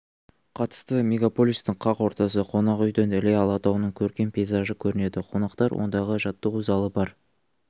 қатысты мегаполистің қақ ортасы қонақүйден іле алатауының көркем пейзажы көрінеді қонақтар ондағы жаттығу залы бар